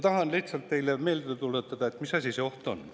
Tahan lihtsalt teile meelde tuletada, mis asi see oht on.